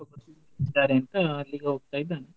ಅಂತ ಅಲ್ಲಿಗೆ ಹೋಗ್ತಾ ಇದಾನೆ.